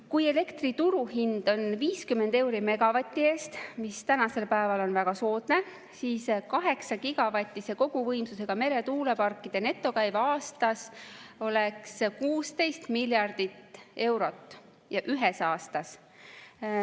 Kui elektri turuhind on 50 eurot megavati eest, mis tänasel päeval on väga soodne, siis 8-gigavatise koguvõimsusega meretuuleparkide netokäive aastas oleks 16 miljardit eurot ühes aastas.